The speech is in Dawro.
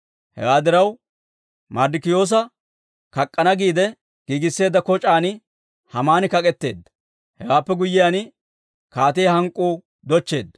Hewaa diraw, Marddikiyoosa kak'k'ana giide giigisseedda koc'aan Haamaani kak'etteedda. Hewaappe guyyiyaan, kaatiyaa hank'k'uu dochcheedda.